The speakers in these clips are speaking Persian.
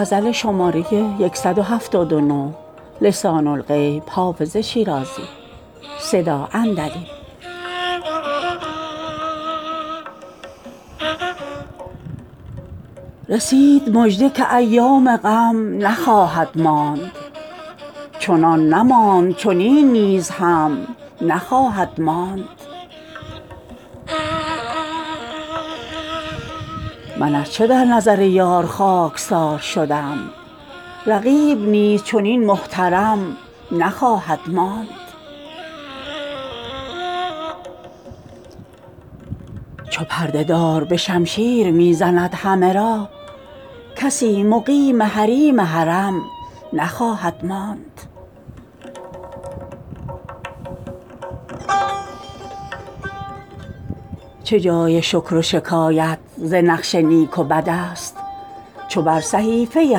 رسید مژده که ایام غم نخواهد ماند چنان نماند چنین نیز هم نخواهد ماند من ار چه در نظر یار خاک سار شدم رقیب نیز چنین محترم نخواهد ماند چو پرده دار به شمشیر می زند همه را کسی مقیم حریم حرم نخواهد ماند چه جای شکر و شکایت ز نقش نیک و بد است چو بر صحیفه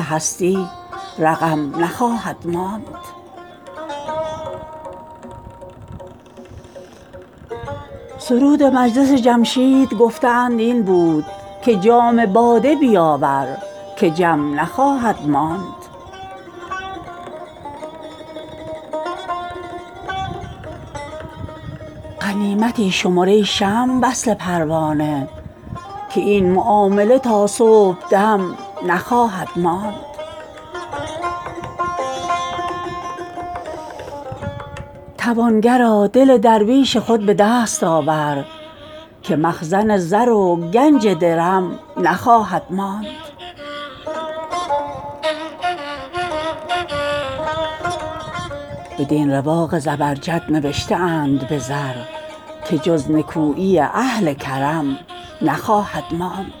هستی رقم نخواهد ماند سرود مجلس جمشید گفته اند این بود که جام باده بیاور که جم نخواهد ماند غنیمتی شمر ای شمع وصل پروانه که این معامله تا صبح دم نخواهد ماند توانگرا دل درویش خود به دست آور که مخزن زر و گنج درم نخواهد ماند بدین رواق زبرجد نوشته اند به زر که جز نکویی اهل کرم نخواهد ماند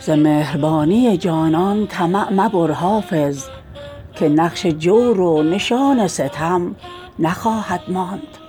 ز مهربانی جانان طمع مبر حافظ که نقش جور و نشان ستم نخواهد ماند